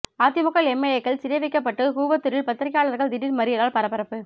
அதிமுக எம்எல்ஏக்கள் சிறை வைக்கப்பட்ட கூவத்தூரில் பத்திரிகையாளர்கள் திடீர் மறியலால் பரபரப்பு